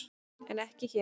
En ekki hér!